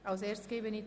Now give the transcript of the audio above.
– Dies ist der Fall.